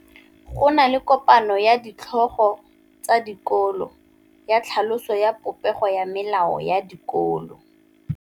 Go na le kopanô ya ditlhogo tsa dikolo ya tlhaloso ya popêgô ya melao ya dikolo.